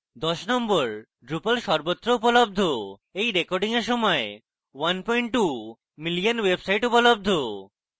number 10: drupal সর্বত্র উপলব্ধ এই রেকর্ডিং এর সময় 12 মিলিয়ন ওয়েবসাইট উপলব্ধ